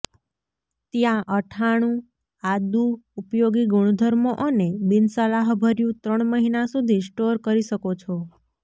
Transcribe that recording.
ત્યાં અથાણું આદુ ઉપયોગી ગુણધર્મો અને બિનસલાહભર્યું ત્રણ મહિના સુધી સ્ટોર કરી શકો છો